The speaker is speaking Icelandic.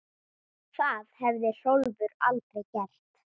Það hefði Hrólfur aldrei gert.